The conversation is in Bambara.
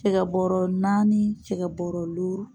Cɛgɛbɔrɔ naani cɛgɛbɔrɔ luuru